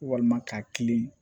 Walima k'a kilen